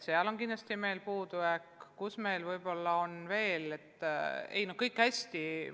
See on kindlasti puudujääk, sellega meil veel ei ole kõik hästi.